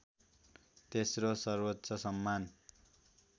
तेस्रो सर्वोच्च सम्मान